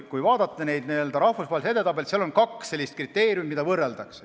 Kui vaadata neid n-ö rahvusvahelisi edetabeleid, siis näeme, et seal on kaks kriteeriumi, mida võrreldakse.